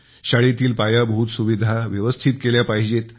शाळेतील पायाभूत सुविधा व्यवस्थित केल्या पाहिजेत